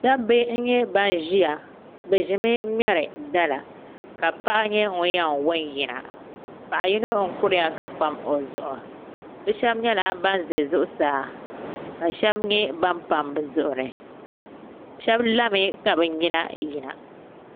Dabba n nyɛ ban ʒiya bi ʒimi n ŋmɛri dala ka paɣa nyɛ ŋun yɛn wo n yina paɣa yino n kuriya ka pam o zuɣu bi shab nyɛla ban ʒɛ zuɣusaa ka shab nyɛ ban pam bi zuɣuri shab lami ka bi nyina yina